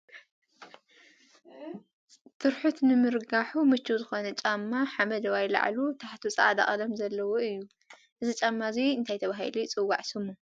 ትርሑት ንምርጋሑ ምችዉ ዝኮነ ጫማ ሓመደዋይ ላዕሉ ታሕቱ ፃዕዳ ቀለም ዘለዎ እዩ። እዚ ጫማ እዙይ እንታይ ተባሂሉ ይፅዋዕ ስሙ ?